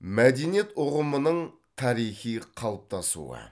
мәдениет ұғымының тарихи қалыптасуы